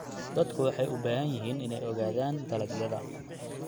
Dadku waxay u baahan yihiin inay ogaadaan dalagyada.